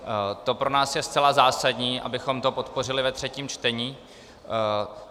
To pro nás je zcela zásadní, abychom to podpořili ve třetím čtení.